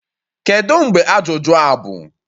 Kedu mgbe ajụjụ a bụ?